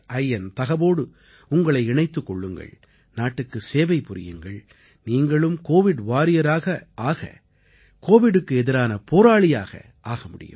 in தகவோடு உங்களை இணைத்துக் கொள்ளுங்கள் நாட்டுக்கு சேவை புரியுங்கள் நீங்களும் கோவிட் Warriorஆக கோவிடுக்கு எதிரான போராளியாக ஆக முடியும்